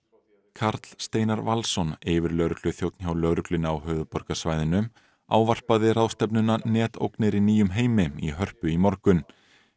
Karl Steinar Valsson yfirlögregluþjónn hjá lögreglunni á höfuðborgarsvæðinu ávarpaði ráðstefnuna netógnir í nýjum heimi í Hörpu í morgun